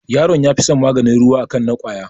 Yaron ya fi son maganin ruwa a kan na ƙwaya